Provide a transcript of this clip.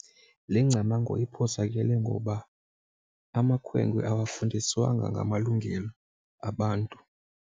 Le ngcamango iphosakele ngoba amakhwenkwe awafundiswanga ngamalungelo abantu.